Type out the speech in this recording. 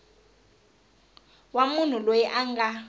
wa munhu loyi a nga